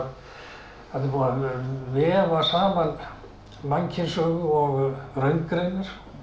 vefa saman mannkynssögu og raungreinar